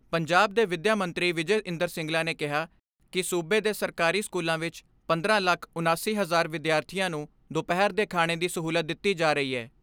ਪੰਜਾਬ ਦੇ ਵਿਦਿਆ ਮੰਤਰੀ ਵਿਜੈ ਇੰਦਰ ਸਿੰਗਲਾ ਨੇ ਕਿਹਾ ਕਿ ਸੂਬੇ ਦੇ ਸਰਕਾਰੀ ਸਕੂਲਾਂ ਵਿਚ ਪੰਦਰਾਂ ਲੱਖ ਉਣਾਸੀ ਹਜ਼ਾਰ ਵਿਦਿਆਰਥੀਆਂ ਨੂੰ ਦੁਪਹਿਰ ਦੇ ਖਾਣੇ ਦੀ ਸਹੂਲਤ ਦਿੱਤੀ ਜਾ ਰਹੀ ਐ।